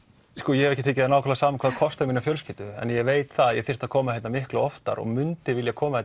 ég hef ekki tekið það nákvæmlega saman hvað kostar mína fjölskyldu en ég veit að ég þyrfti að koma hérna miklu oftar og myndi vilja koma